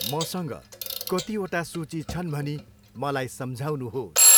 मसँग कतिवटा सूची छन् भनी मलाई सम्झाउनुहोस्।